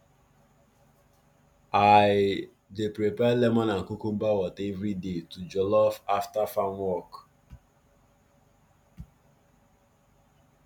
i dey prepare lemon and cucumber water everyday to jollof after farm work